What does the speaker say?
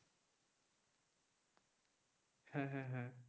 হ্যাঁ হ্যাঁ হ্যাঁ